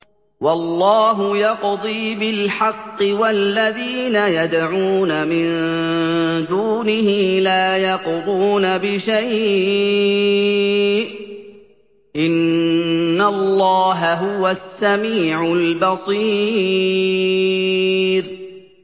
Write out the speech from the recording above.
وَاللَّهُ يَقْضِي بِالْحَقِّ ۖ وَالَّذِينَ يَدْعُونَ مِن دُونِهِ لَا يَقْضُونَ بِشَيْءٍ ۗ إِنَّ اللَّهَ هُوَ السَّمِيعُ الْبَصِيرُ